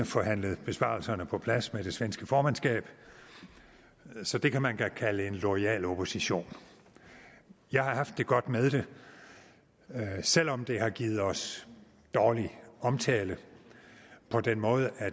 forhandlet besparelserne på plads med det svenske formandskab så det kan man da kalde en loyal opposition jeg har haft det godt med det selv om det har givet os dårlig omtale på den måde at